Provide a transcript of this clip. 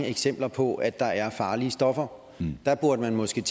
eksempler på at der er farlige stoffer burde man måske